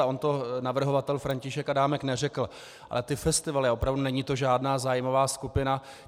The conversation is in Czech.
A on to navrhovatel František Adámek neřekl, ale ty festivaly, opravdu není to žádná zájmová skupina.